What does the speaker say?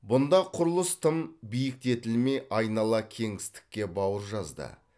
бұнда құрылыс тым биіктетілмей айнала кеңістікке бауыр жазды